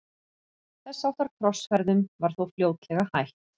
þess háttar krossferðum var þó fljótlega hætt